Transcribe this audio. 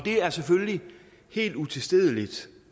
er selvfølgelig helt utilstedeligt